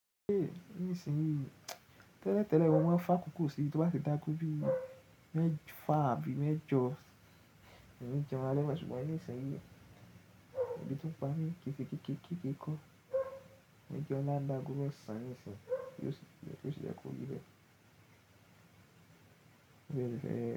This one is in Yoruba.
Nísinyí tẹ́lẹ̀tẹ́lẹ̀ mo máa ń fá kòkó síi tí ó bá ti dáago bí i mẹ́fà àbí mẹ́jọ mi ń ni jẹ́un alẹ́ mo ṣùgbọ́n nísinsìnyí èbí tó ń pa mi kìì ṣe kékèe kékèe kọ́, mo ń jẹun laa--ni aago mẹ́sàn nísìnyí tí ó ṣe yẹ́ kó ríbẹ̀.